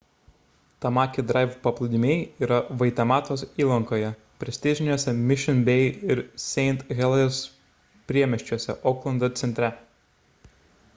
tamaki drive paplūdimiai yra vaitematos įlankoje prestižiniuose mission bay ir st heliers priemiesčiuose oklando centre